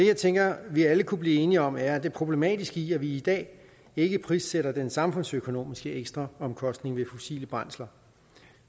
jeg tænker vi alle kunne blive enige om er det problematiske i at vi i dag ikke prissætter den samfundsøkonomiske ekstraomkostning ved fossile brændsler